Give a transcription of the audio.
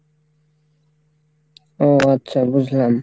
ও আচ্ছা বুঝলাম।